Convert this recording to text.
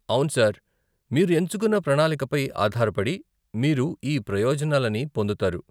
అవును సర్, మీరు ఎంచుకున్న ప్రణాళికపై ఆధారపడి, మీరు ఈ ప్రయోజనాలని పొందుతారు.